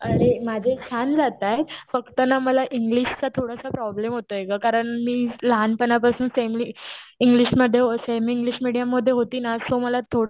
अरे माझे छान जातायेत पण फक्त ना मला इंग्लिशचा थोडासा प्रॉब्लेम होतोय ग कारण ना मी लहानपणा पासून सेमली इंग्लिशमध्ये हो सेमी इंग्लिश मेडीयम मध्ये होती ना सो मला थोडं